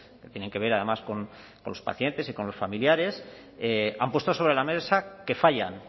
que tienen que ver además con los pacientes y con los familiares han puesto sobre la mesa que fallan